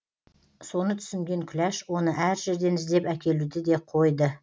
соны түсінген күләш оны әр жерден іздеп әкелуді де қойды